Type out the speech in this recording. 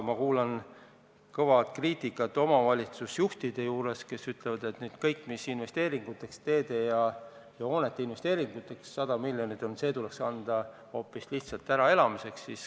Ma kuulen kõva kriitikat omavalitsusjuhtidelt, kes ütlevad, et kõik, mis on mõeldud praegu teede ja hoonete investeeringuteks, see 100 miljonit, tuleks anda lihtsalt äraelamiseks.